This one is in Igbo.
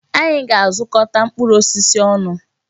Anyị ga-azukọta mkpụrụ osisi ọnụ.